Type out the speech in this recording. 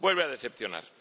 Vuelve a decepcionar.